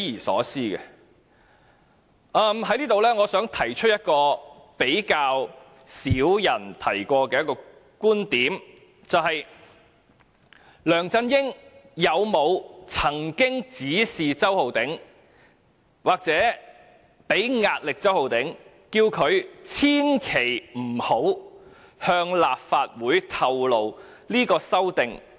我還想提出一個較少人提過的觀點，便是梁振英有沒有指示周浩鼎議員或向周浩鼎議員施壓，叫他千萬不要向立法會透露是他提出修訂的？